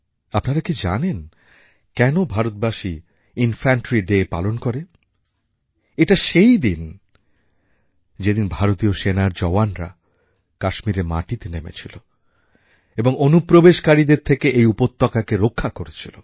আপনারা কি জানেন কেন ভারতবাসী ইনফ্যানট্রি ডে পালন করে এটা সেই দিন যেদিন ভারতীয় সেনার জওয়ানরা কাশ্মীরের মাটিতে নেমেছিল এবং অনুপ্রবেশকারীদের থেকে এই উপত্যকাকে রক্ষা করেছিল